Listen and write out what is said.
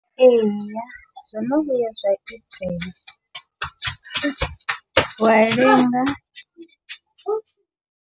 Ee, zwo no vhuya zwa itela, wa lenga